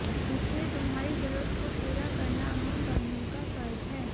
इसलिए तुम्हारी जरूरत को पूरा करना हम बहनों का फर्ज हैं